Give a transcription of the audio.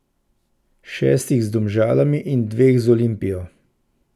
Šestih z Domžalami in dveh z Olimpijo.